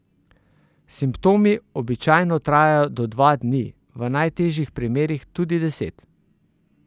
Simptomi običajno trajajo do dva dni, v najtežjih primerih tudi deset.